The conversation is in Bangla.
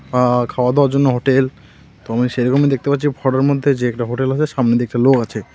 আ্য খাওয়া-দাওয়ার জন্য হোটেল আমি সেরকমই দেখতে পাচ্ছি ফটোর মধ্যে যে একটা হোটেল আছে সামনের দিকটা লোক আছে.